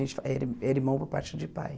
gente ele é irmão por parte de pai.